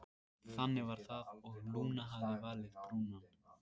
Þannig var það og Lúna hafði valið Brúnan.